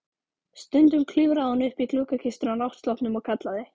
Stundum klifraði hún upp í gluggakistuna á náttsloppnum og kallaði